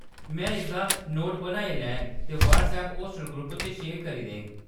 में इसदा नोट बनाई लैङ ते व्हाट्सएप होस्टल ग्रुप च शेयर करी देङ।